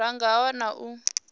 ra nga a wana u